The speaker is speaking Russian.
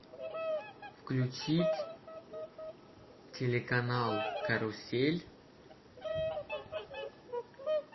включить телеканал карусель